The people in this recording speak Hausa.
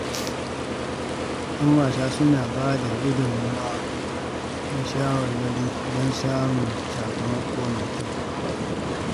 Ƴan wasa suna bada gudunmawa da shawarwari don samun sakamako mai kyau.